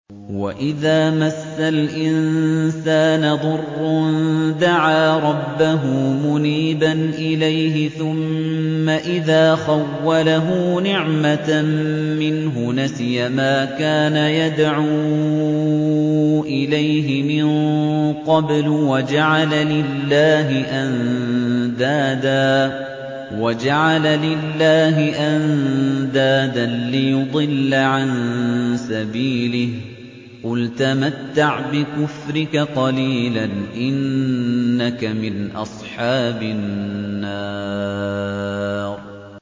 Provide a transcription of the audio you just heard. ۞ وَإِذَا مَسَّ الْإِنسَانَ ضُرٌّ دَعَا رَبَّهُ مُنِيبًا إِلَيْهِ ثُمَّ إِذَا خَوَّلَهُ نِعْمَةً مِّنْهُ نَسِيَ مَا كَانَ يَدْعُو إِلَيْهِ مِن قَبْلُ وَجَعَلَ لِلَّهِ أَندَادًا لِّيُضِلَّ عَن سَبِيلِهِ ۚ قُلْ تَمَتَّعْ بِكُفْرِكَ قَلِيلًا ۖ إِنَّكَ مِنْ أَصْحَابِ النَّارِ